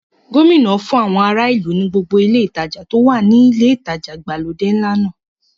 Gómìnà náà fún àwọn ará ìlú ní gbogbo ile ìtajà tó wà ní ilé ìtajà ìgbàlódé ńlá náà.